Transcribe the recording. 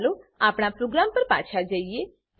હવે ચાલો આપણા પ્રોગ્રામ પર જઈએ